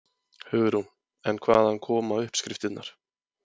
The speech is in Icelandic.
Hugrún: En hvaðan koma uppskriftirnar?